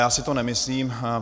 Já si to nemyslím.